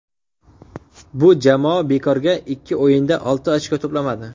Bu jamoa bekorga ikki o‘yinda olti ochko to‘plamadi.